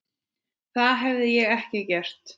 Það hefði ég ekki gert.